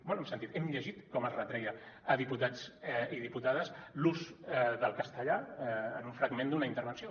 bé hem sentit hem llegit com es retreia a diputats i diputades l’ús del castellà en un fragment d’una intervenció